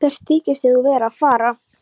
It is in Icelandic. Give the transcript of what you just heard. Stuttu síðar snörlaði í nefi hans.